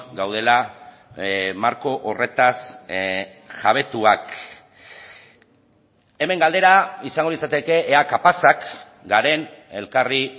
gaudela marko horretaz jabetuak hemen galdera izango litzateke ea kapazak garen elkarri